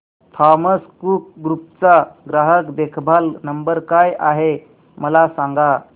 Thomas Cook group चा ग्राहक देखभाल नंबर काय आहे मला सांगा